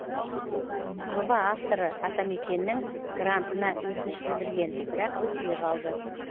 жоба авторы атамекеннің грантына өтініш білдірген бірақ өтпей қалды